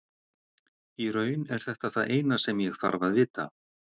Í raun er þetta það eina sem ég þarf að vita.